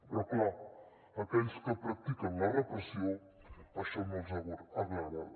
però clar a aquells que practiquen la repressió això no els agrada